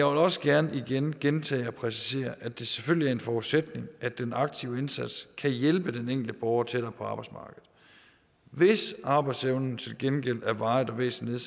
også gerne igen gentage og præcisere at det selvfølgelig er en forudsætning at den aktive indsats kan hjælpe den enkelte borger tættere på arbejdsmarkedet hvis arbejdsevnen til gengæld er varigt og væsentligt